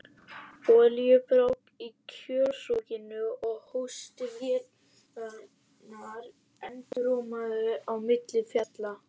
Olíubrák í kjölsoginu og hósti vélarinnar endurómaði á milli fjalla.